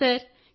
అవును సార్